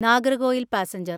Nagercoil passenger